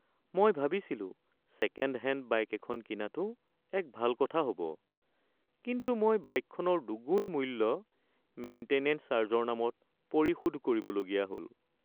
মই ভাবিছিলো second hand bike এখন কিনাটো এক ভাল কথা হ’ব কিন্তু মই বাইকখনৰ দুগুণ মূল্য মেইন্টেনেঞ্চ চাৰ্জৰ নামত পৰিশোধ কৰিবলগীয়া হ’ল।